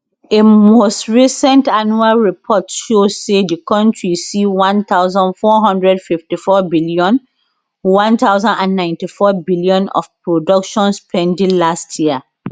a most recent annual report show say di kontri see One thousand four hundred and fifty four billion One thousand and ninty four billion of production spending last year